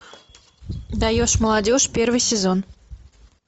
даешь молодежь первый сезон